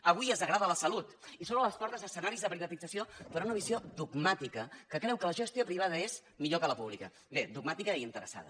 avui es degrada la salut i s’obren les portes a escenaris de privatització per una visió dogmàtica que creu que la gestió privada és millor que la pública bé dogmàtica i interessada